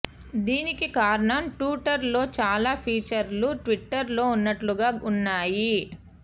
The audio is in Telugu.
దీనికి కారణం టూటర్ లో చాలా ఫీచర్లు ట్విటర్ లో ఉన్నట్టుగానే ఉన్నాయి